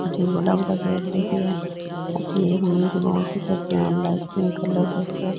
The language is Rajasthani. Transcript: अठीने बढ़ा बढ़ा गेट दिख रिया है अठीने एक मंदिर और दिखे जका में लाइट पिंक कलर को सो है।